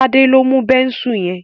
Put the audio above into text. Tade lọ mú Bẹ́ńsù yen.